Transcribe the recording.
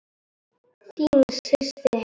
Þín systir Heiða.